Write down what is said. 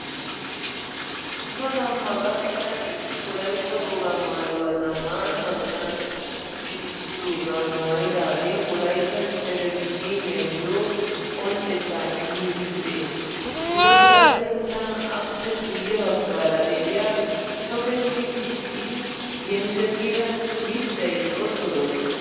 Asa gamma gakida issi wolaytta wogaa maayuwa zammaana hanotan siissidoogaa maayidaagee Wolaytta televizhzhiniyayo qonccettaa immiid de'ees. Gidoppe attin tana appe guye baggaara de'iya tokketti diccidi yenkkekida mittay xoosso lo'ees.